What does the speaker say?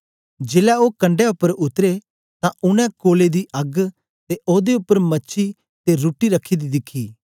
जेलै ओ कंडै उपर उतरे तां उनै कोले दी अग्ग ते ओदे उपर मछी ते रुट्टी रखी दी दिखी